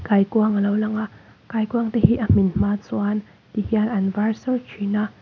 kaikuang a lo lang a kaikuangte hi a hmin hma chuan ti hian an var sar thin a.